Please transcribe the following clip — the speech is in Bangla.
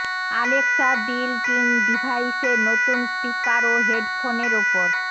অ্যালেক্সা বিল্ট ইন ডিভাইসের নতুন স্পিকার ও হেডফোনের ওপর